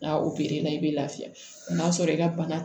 N'a o la i bɛ lafiya n'a sɔrɔ i ka bana